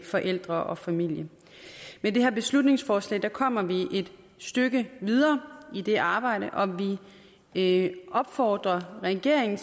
forældre og familie med det her beslutningsforslag kommer vi et stykke videre i det arbejde og vi opfordrer regeringen